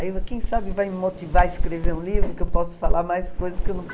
Aí, quem sabe, vai me motivar a escrever um livro, que eu posso falar mais coisas que eu não